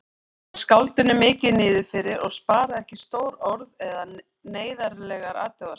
Var skáldinu mikið niðrifyrir og sparaði ekki stór orð eða neyðarlegar athugasemdir.